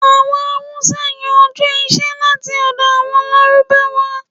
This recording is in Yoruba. Àwọn Hausa yá Ọjọ́ ọ̀sẹ̀ láti ọ̀dọ̀ àwọn Lárúbáwá.